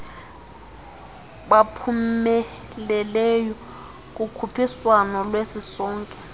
baphumeleleyo kukhuphiswano lwesisonke